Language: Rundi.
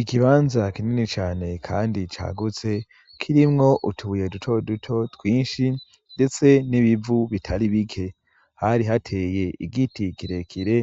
Ikibanza kinini cane kandi cagutse kirimwo utubuye duto duto twinshi ndetse n'ibivu bitari bike. Hari hateye igiti kirekire